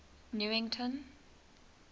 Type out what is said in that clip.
newington